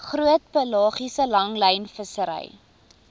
groot pelagiese langlynvissery